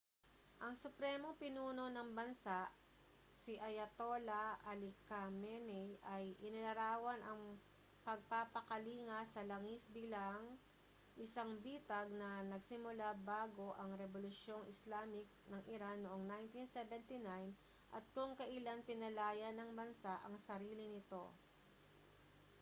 ang supremong pinuno ng bansa si ayatollah ali khamenei ay inilarawan ang pagpapakalinga sa langis bilang isang bitag na nagsimula bago ang rebolusyong islamic ng iran noong 1979 at kung kailan pinalaya ng bansa ang sarili nito